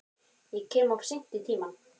Ég kem of seint í tímann.